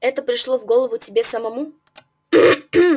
это пришло в голову тебе самому